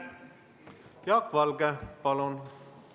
Jaak Valge, palun!